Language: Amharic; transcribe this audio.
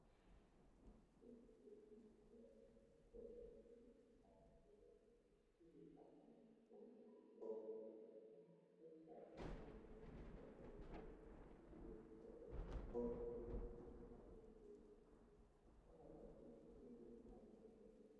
ንቶ ፈድረን ቢትማትመቶበሲ ዙግቃአንትዎን እላአለጠጓነት እና እርሰፈትለ በተንትንሪቸው በርቶች እስቱ ያበቶው ግልንማብርን ሲሆንትን ከሀድራቸው እምህ የንግር አለፈሳቸ